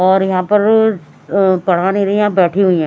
और यहां पर अ पढ़ा नहीं रही हैं बैठी हुई हैं।